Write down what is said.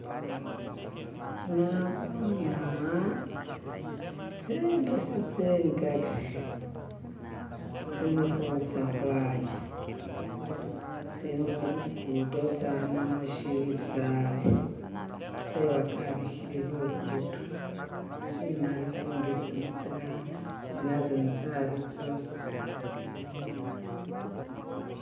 Naboone aha tsimbusi tsingali tsili khutsa khwaya tsili mulugudo tsama mushisali tsewakalikhile lugudo, tsimali, imbesemu, tsana tsanabintsali tsosi.